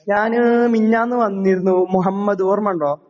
ഞാന് മിനിഞ്ഞാന്ന് വന്നിരുന്നു മുഹമ്മദ് ഓർമ്മണ്ടോ?